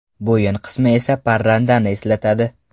Bo‘yin qismi esa parrandani eslatadi.